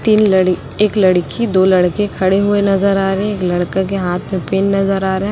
तीन लड़ एक लड़की दो लड़के खड़े हुए नजर आ रहे है एक लड़का के हाथ में पेन नजर आ रहा है।